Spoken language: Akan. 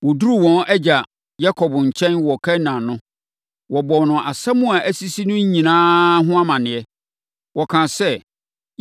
Wɔduruu wɔn agya Yakob nkyɛn wɔ Kanaan no, wɔbɔɔ no nsɛm a asisi no nyinaa ho amaneɛ. Wɔkaa sɛ,